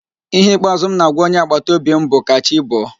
Ihe ikpeazụ m na-agwa onye agbataobi m bụ, "ka chi bọọ"